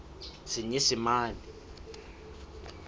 senyesemane